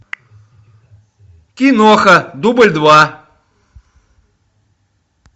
киноха дубль два